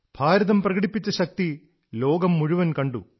ഭാരതം പ്രകടിപ്പിച്ച ശക്തി ലോകം മുഴുവൻ കണ്ടു